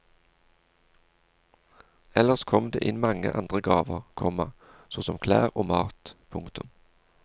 Ellers kom det inn mange andre gaver, komma så som klær og mat. punktum